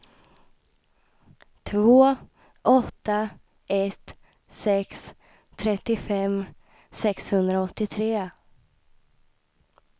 två åtta ett sex trettiofem sexhundraåttiotre